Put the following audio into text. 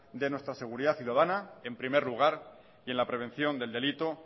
de nuestra seguridad ciudadana en primer lugar y en la prevención del delito